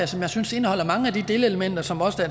som jeg synes indeholder mange af de delelementer som også